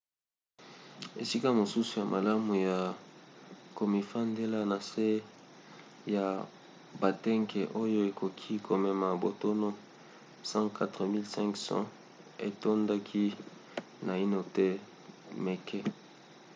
esika mosusu ya malamu ya komifandela na se ya batanke oyo ekoki komema batono 104 500 etondaki naino te meke